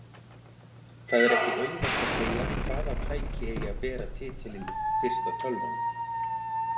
Það er ekki auðvelt að segja hvaða tæki eigi að bera titilinn fyrsta tölvan.